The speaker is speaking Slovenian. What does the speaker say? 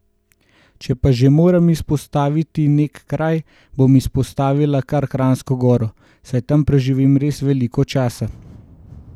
Če pa že moram izpostaviti nek kraj, bom izpostavila kar Kranjsko goro, saj tam preživim res veliko časa.